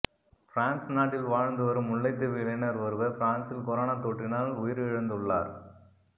France நாட்டில் வாழ்ந்து வரும் முல்லைத்தீவு இளைஞர் ஒருவர் பிரான்ஸில் கொரோனாத் தொற்றினால் உயிரிழந்துள்ளார்